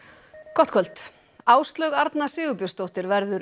gott kvöld Áslaug Arna Sigurbjörnsdóttir verður